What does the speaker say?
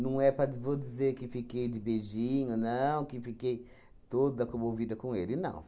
Não é para de vou dizer que fiquei de beijinho, não, que fiquei toda comovida com ele, não.